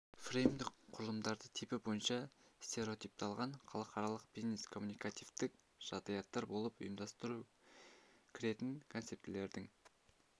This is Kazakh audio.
фреймдік құрылымдарды типі бойынша стереотипталған халықаралық бизнес-коммуникативтік жағдаяттар болып ұйымдастыру кіретін концептілердің